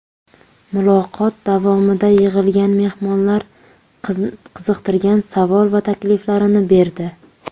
Muloqot davomida yig‘ilgan mehmonlar qiziqtirgan savol va takliflarini berdi.